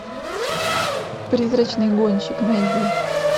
призрачный гонщик найди